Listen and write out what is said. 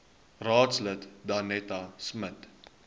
raadslid danetta smit